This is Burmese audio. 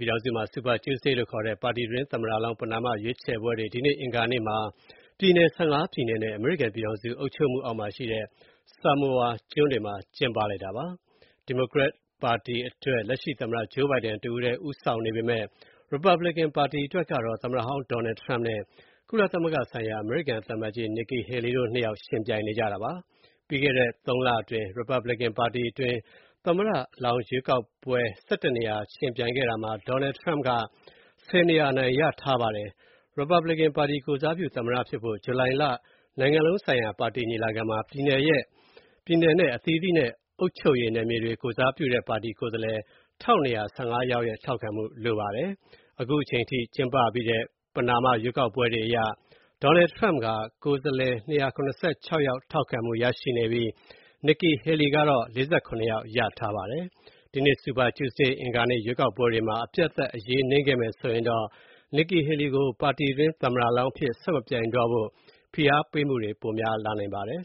ြည်ထောင်စုမှာ Super Tuesday လို့ခေါ်တဲ့ ပါတီတွင်း သမ္မတလောင်း ပဏာမရွေးချယ်ပွဲတွေ ဒီနေ့ အင်္ဂါနေ့ ပြည်နယ် ၁၅ ပြည်နယ်နဲ့ အမေရိကန်ပြည်ထောင်စု အုပ်ချုပ်မှုအောက်မှာရှိတဲ့ Samoa ကျွန်းတွေမှာ ကျင်းပါတယ်။ ဒီမိုကရက်ပါတီအတွက် လက်ရှိ သမ္မတ Joe Biden တဦးတည်းဦးဆောင်နေပေမဲ့ ရီပတ်ဘလစ်ကန် ပါတီအတွက်တော့ သမ္မတဟောင်း Donald Trump နဲ့ ကုလသမဂ္ဂဆိုင်ရာ အမေရိကန် သံအမတ်ကြီးဟောင်း Nikki Haley တို့နှစ်ယောက် ယှဉ်ပြိုင်နေကြတာပါ။ ပြီးခဲ့တဲ့ သုံးလအတွင်း ရီပတ်ဘလစ်ကန်ပါတီတွင်း သမ္မတလောင်း ရွေးချယ်ပွဲ ၁၁ နေရာ ယှဉ်ပြိုင်ခဲ့တာမှာ Donald Trump က ၁၀ နေရာ အနိုင်ရထားပါတယ်။ ရီပတ်ဘလစ်ကန်ပါတီ ကိုယ်စားပြု သမ္မတဖြစ်ဖို့ ဂျူလိုင်လ နိုင်ငံလုံးဆိုင်ရာ ပါတီညီလာခံမှာ ပြည်နယ်နဲ့အသီးသီးနဲ့ အုပ်ချုပ်ရေးနယ်မြေတွကို ကိုယ်စားပြုတဲ့ ပါတီကိုယ်စားလှယ် ၁,၂၁၅ ယောက်ရဲ့ ထောက်ခံမှု လိုပါတယ်။အခုအချိန်အထိ ကျင်းပပြီးတဲ့ ပဏာမရွေးကောက်ပွဲတွေအရ Donald Trump က ကိုယ်စားလှယ် ၂၇၆ ယောက် ထောက်ခံမှုရထားပြီး Nikki Haley က ၄၇ ယောက် ရထားပါတယ်။ ဒီနေ့ Super Tuesday အင်္ဂါနေ့ ရွေးကောက်ပွဲတွေမှာ အပြတ်အသတ် အရေးနိမ့်ခဲ့မယ်ဆိုရင် Nikki Haley ကို ပါတီတွင်း သမ္မတလောင်းအဖြစ် ဆက်မပြိုင်တော့ဖို ဖိအားပေးမှုတွေ ပိုများလာနိုင်ပါတယ်